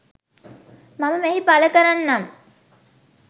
මම මෙහි පලකරන්නම්.